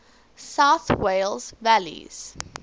south wales valleys